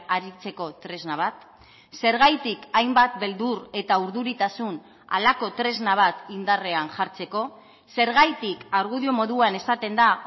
aritzeko tresna bat zergatik hainbat beldur eta urduritasun halako tresna bat indarrean jartzeko zergatik argudio moduan esaten da